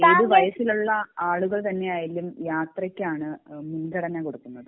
ഏത് വയസ്സിലുള്ള ആളുകൾ തന്നെ ആയാലും യാത്രക്കാണ് മുൻഗണന കൊടുക്കുന്നത്